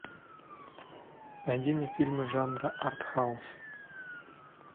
найди мне фильмы жанра артхаус